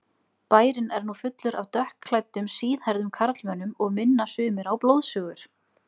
Bærinn er nú fullur af dökkklæddum, síðhærðum karlmönnum og minna sumir á blóðsugur.